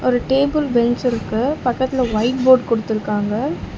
ஒரு table bench இருக்கு பக்கத்துல ஒயிட் போட் குடுத்துருக்காங்க.